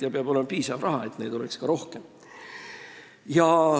Seal peab olema piisavalt raha, et neid oleks ka rohkem.